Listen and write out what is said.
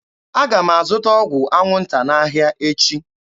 Aga m azụta ọgwụ anwụnta n'ahịa echi.